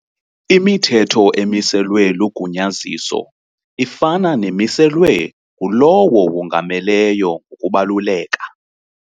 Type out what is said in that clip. Imithetho emiselwe lugunyaziso ifana nemiselwe ngulowo wongameleyo ngokubaluleka.